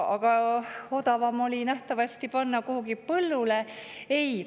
Aga odavam oli nähtavasti panna kuhugi põllule.